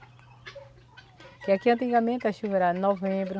Porque aqui antigamente a chuva era novembro,